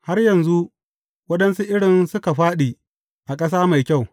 Har yanzu, waɗansu irin suka fāɗi a ƙasa mai kyau.